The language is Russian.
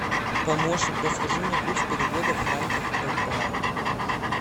помощник подскажи мне курс перевода франков в бальбоа